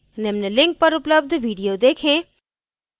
निम्न link पर उपलब्ध video देखें